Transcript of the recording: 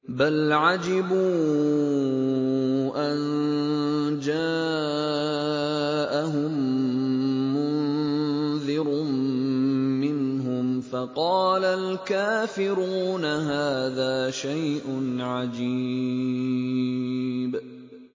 بَلْ عَجِبُوا أَن جَاءَهُم مُّنذِرٌ مِّنْهُمْ فَقَالَ الْكَافِرُونَ هَٰذَا شَيْءٌ عَجِيبٌ